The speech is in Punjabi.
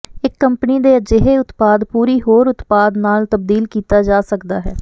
ਇਕ ਕੰਪਨੀ ਦੇ ਅਜਿਹੇ ਉਤਪਾਦ ਪੂਰੀ ਹੋਰ ਉਤਪਾਦ ਨਾਲ ਤਬਦੀਲ ਕੀਤਾ ਜਾ ਸਕਦਾ ਹੈ